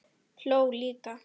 Hló líka.